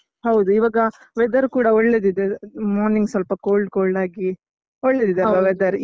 ಹೌದು ಇವಾಗ weather ಕೂಡ ಒಳ್ಳೇದಿದೆ ಅಹ್ morning ಸ್ವಲ್ಪ cold cold ಆಗಿ ಒಳ್ಳೆದಿದೆ ಅಲ್ವಾ weather .